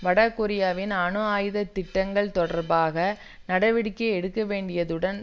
வடகொரியாவின் அணு ஆயுத திட்டங்கள் தொடர்பாக நடவடிக்கை எடுக்கவேண்டியதுடன்